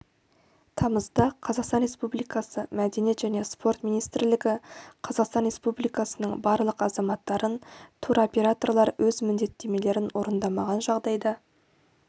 тамызда қазақстан республикасы мәдениет және спорт министрлігі қазақстан республикасының барлық азаматтарын туроператорлар өз міндеттемелерін орындамаған жағдайда